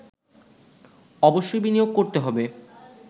অবশ্যই বিনিয়োগ করতে হবে